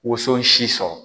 Woson si sɔrɔ.